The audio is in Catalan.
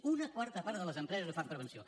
una quarta part de les empreses no fan prevenció